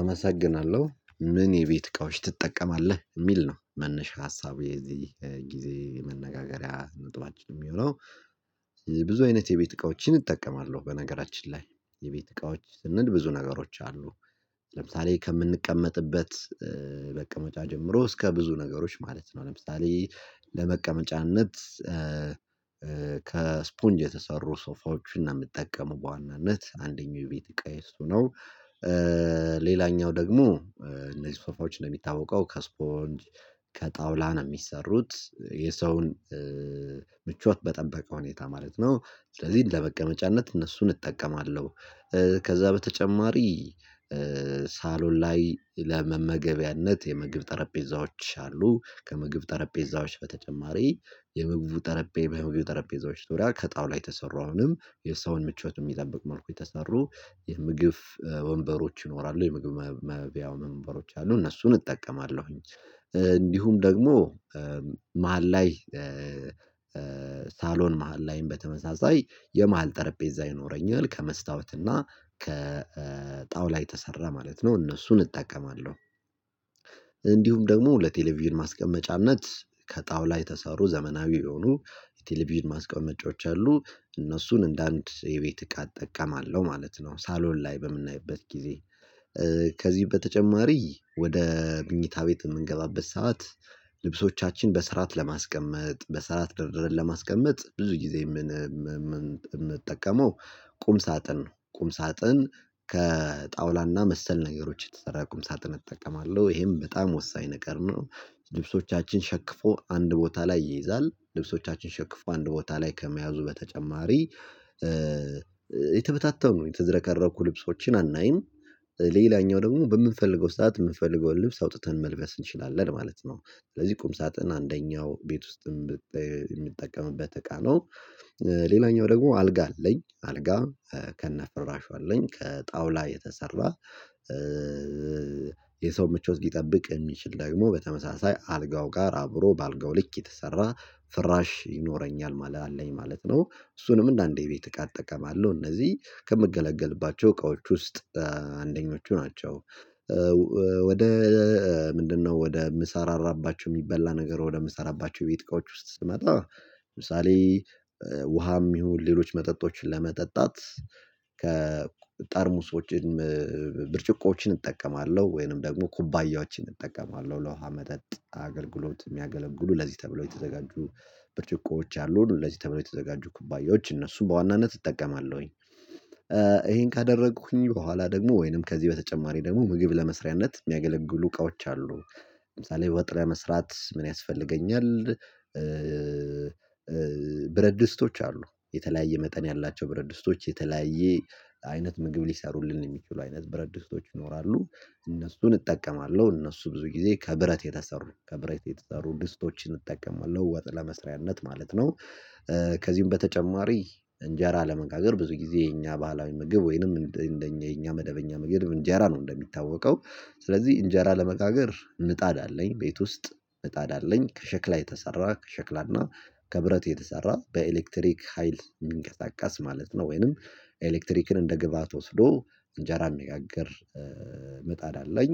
አመሰግናለሁ ምን የቤት እቃዎች ትጠቀማለህ የሚል ነው መነሻ ሀሳቡ የዚህ ጊዜ መነጋገሪያ ነጥባችን የሚሆነው። ብዙ አይነት የቤት እቃዎችን እጠቀማለሁ በነገራችን ላይ የቤት እቃዎች ስንል ብዙ ነገሮች አሉ። ለምሳሌ ከምንቀመጥበት በቀመጫ ጀምሮ እስከ ብዙ ነገሮች ማለት ነው። ለምሳሌ ለመቀመጫነት ከስፖንጅ የተሰሩ ሶፋዎችን እና የምትጠቀሙ በዋናነት አንደኛው የቤት እቃዬ እሱ ነው። ሌላኛው ደግሞ እነዚህ ሶፋዎች እንደሚታወቀው ከስፖንጅ ከጣውላ ነው የሚሰሩት የሰውን ምቾት በጠበቀ ሁኔታ ማለት ነው ስለዚህ ለመቀመጫነት እነሱን እጠቀማለሁ። ከዛ በተጨማሪ ሳሎን ላይ ለመመገቢያነት የምግብ ጠረጴዛዎች አሉ ከምግብ ጠረጴዛዎች በተጨማሪ የምግቡ ጠረጴ የምግብ ጠረጴዛዎች ዙሪያ ከጣውላ የተሰሩ አሁንም የሰውን ምቾት በሚጠብቅ መልኩ የተሰሩ የምግብ ወንበሮች ይኖራሉ። የምግብ የመብያው ወንበሮች አሉ እነሱን እጠቀማለሁኝ። እንዲሁም ደግሞ መሃል ላይ ሳሎን መሃል ላይም በተመሳሳይ የመሃል ጠረጴዛ ይኖረኛል ከመስታወት እና ከጣውላ የተሰራ ማለት ነው እነሱን እጠቀማለሁ። እንዲሁም ደግሞ ለቴሌቪዥን ማስቀመጫነት ከጣውላ የተሰሩ ዘመናዊ የሆኑ የቴሌቪዥን ማስቀመጫዎች አሉ እነሱን እንደ አንድ የቤት እቃ እጠቀማለሁ ማለት ነው። ሳሎን ላይ በምናይበት ጊዜ ከዚህ በተጨማሪ ወደ ምኝታ ቤት በምንገባበት ሰዓት ልብሶቻችን በስራት ለማስቀመጥ በስራት ደርድረን ለማስቀመጥ ብዙ ጊዜ የምንጠቀመው ቁም ሳጥን ነው። ቁም ሳጥን ከጣውላ እና መሰል ነገሮች የተሰራ ቁም ሳጥን እጠቀማለሁ ይሄም በጣም ወሳኝ ነገር ነው። ልብሶቻችን ሸክፎ አንድ ቦታ ላይ ይይዛል ልብሶቻችን ሸክፎ አንድ ቦታ ላይ ከመያዙ በተጨማሪ የተበታተኑ የተዝረከረኩ ልብሶችን አናይም። ሌላኛው ደግሞ በምንፈልገው ሰዓት ምንፈልገው ልብስ አውጥተን መልበስ እንችላለን ማለት ነው። ስለዚህ ቁም ሳጥን አንደኛው ቤት ውስጥም የምጠቀምበት እቃ ነው። ሌላኛው ደግሞ አልጋ አለኝ አልጋ ከነፍራሹ አለኝ ከጣውላ የተሰራ የሰው ምቾት ሊጠብቅ የሚችል ደግሞ በተመሳሳይ አልጋው ጋር አብሮ በአልጋው ልክ የተሰራ ፍራሽ ይኖረኛል ማለት አለኝ ማለት ነው። እሱንም እንደ አንዴ ቤት እቃ ጠቀማለሁ እነዚህ ከምገለገልባቸው እቃዎች ውስጥ አንደኞቹ ናቸው። ወደ ምንድነው? ወደ ምሰራራባቸው የሚበላ ነገር ወደ ምሰራራባቸው ቤት እቃዎች ውስጥ ስመጣ ለምሳሌ ውሃም ይሁን ሌሎች መጠጦችን ለመጠጣት ከጠርሙሶችን ብርጭቆዎችን እጠቀማለሁ። ወይንም ደግሞ ኩባያዎችን እጠቀማለሁ ለውሃ መጠጥ አገልግሎት የሚያገለግሉ ለዚህ ተብለው የተዘጋጁ በርጭቆዎች አሉን። ለዚህ ተብለው የተዘጋጁ ኩባያዎች እነሱን በዋናነት እጠቀማለሁኝ። ይሄን ካደረኩኝ በኋላ ደግሞ ወይንም ከዚህ በተጨማሪ ደግሞ ምግብ ለመስሪያነት የሚያገለግሉ እቃዎች አሉ። ለምሳሌ ወጥ ለመስራት ምን ያስፈልገኛል? ብረድስቶች አሉ የተለያየ መጠን ያላቸው ብረድስቶች የተለያየ አይነት ምግብ ሊሰሩልን የሚችሉ አይነት ብረትድሰቶች ይኖራሉ። እነሱን እጠቀማለሁ እነሱ ብዙ ጊዜ ከብረት የተሰሩ ከብረት የተሰሩ ድስቶችን እጠቀማለሁ ወጥ ለመስሪያነት ማለት ነው። ከዚህም በተጨማሪ እንጀራ ለመጋገር ብዙ ጊዜ የኛ ባህላዊ ምግብ ወይንም የኛ መደበኛ ምግብ እንጀራ ነው። እንደሚታወቀው ስለዚህ እንጀራ ለመጋገር ምጣድ አለኝ ቤት ውስጥ ምጣድ አለኝ ከሸክላ የተሰራ ከሸክላ እና ከብረት የተሰራ በኤሌክትሪክ ሀይል የሚንቀሳቀስ ማለት ነው ወይንም ኤሌክትሪክን እንደ ግብአት ወስዶ እንጀራ የሚጋግር ምጣድ አለኝ።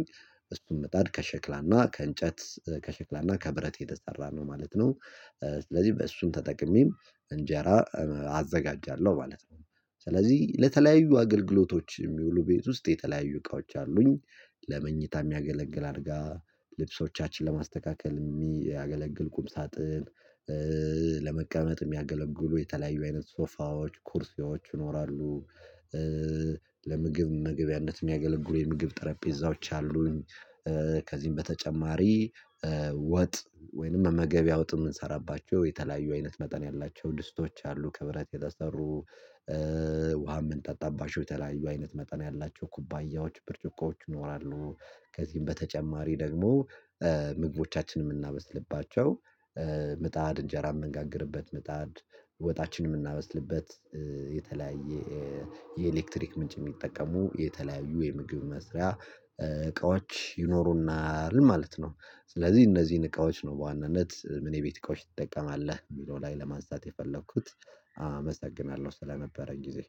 እሱን ምጣድ ከሸክላ እና ከእንጨት ከሽክላ እና ከብረት የተሰራ ነው ማለት ነው። ስለዚህ በእሱም ተጠቅሜም እንጀራ አዘጋጃለሁ ማለት ነው። ስለዚህ ለተለያዩ አገልግሎቶች የሚውሉ ቤት ውስጥ የተለያዩ እቃዎች አሉኝ። ለመኝታ የሚያገለግል አልጋ ልብሶቻችን ለማስተካከል የሚያገለግል ቁም ሳጥን ለመቀመጥ የሚያገለግሉ የተለያዩ አይነት ሶፋዎች ኩርሴዎች ይኖራሉ። ለምግብ መመግቢያነት የሚያገለግሉ የምግብ ጠረጴዛዎች አሉኝ። ከዚህም በተጨማሪ ወጥ ወይንም መመገቢያ ወጥ የምንሰራባቸው የተለያዩ አይነት መጠን ያላቸው ድስቶች አሉ ክብረት የተሰሩ ውሃ ምንጠጣባቸው የተለያዩ አይነት መጠን ያላቸው ኩባያዎች ብርጭቆዎች ይኖራሉ። ከዚህም በተጨማሪ ደግሞ ምግቦቻችንን የምናበስልባቸው ምጣድ እንጀራ የምንጋግርበት ምጣድ ወጣችንን የምናበስልበት የተለያየ የኤሌክትሪክ ምንጭ የሚጠቀሙ የተለያዩ የምግብ መስሪያ እቃዎች ይኖሩናል ማለት ነው። ስለዚህ እነዚህን እቃዎች ነው በዋነነት ምን የቤት እቃዎች ትጠቀማለህ የሚለው ላይ ለማንሳት የፈለኩት። አመሰግናለሁ ስለነበረኝ ጊዜ